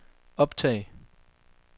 optag